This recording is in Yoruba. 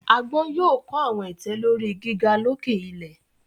Agbọn yoo kọ awọn itẹ lori giga loke ilẹ